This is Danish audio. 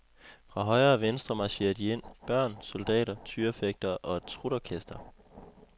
Fra højre og venstre marcherer de ind, børn, soldater, tyrefægtere og et trutorkester.